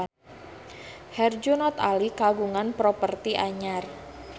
Herjunot Ali kagungan properti anyar